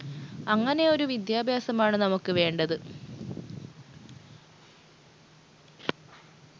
അങ്ങനെയൊരു വിദ്യാഭ്യാസമാണ് നമുക്ക് വേണ്ടത്